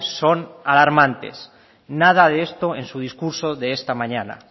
son alarmantes nada de esto en su discurso de esta mañana